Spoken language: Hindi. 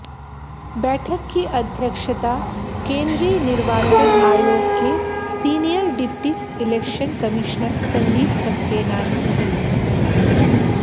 बैठक की अध्यक्षता केंद्रीय निर्वाचन आयोग के senior deputy election commissioner Sandeep Saxena ने की